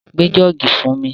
Gbé jọ́ọ̀gì fún mi!